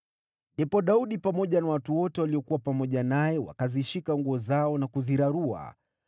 Ndipo Daudi pamoja na watu wote waliokuwa pamoja naye wakazishika nguo zao na kuzirarua.